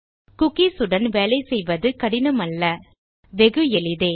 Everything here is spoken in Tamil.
குக்கீஸ் உடன் வேலை செய்வது கடினமல்ல வெகு எளிதே